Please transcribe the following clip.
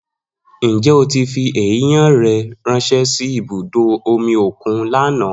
Njẹ o ti fi eiyan rẹ ranṣẹ si ibudo omi okun lana?